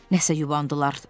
Nəsə yubandılar.